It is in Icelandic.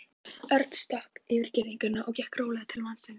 Örn stökk yfir girðinguna og gekk rólega til mannsins.